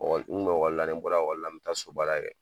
Ɔkɔ n kun bɛ ɔkɔli la ni n bɔra ɔkɔli la mi taa so baara kɛ